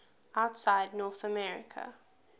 outside north america